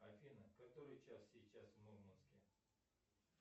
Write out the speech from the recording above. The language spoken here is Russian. афина который час сейчас в мурманске